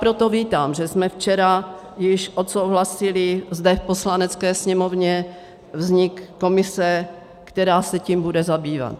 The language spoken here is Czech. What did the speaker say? Proto vítám, že jsme včera již odsouhlasili zde v Poslanecké sněmovně vznik komise, která se tím bude zabývat.